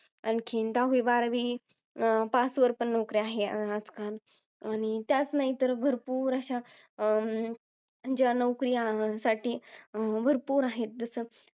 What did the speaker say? आणखी, दहावी बारावी pass वर पण नोकरी आहे आजकाल. आणि त्याच नाही तर भरपूर अशा अं ज्या नोकऱ्यांसाठी भरपूर आहे. जसं.